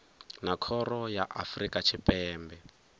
na khoro ya afrika tshipembe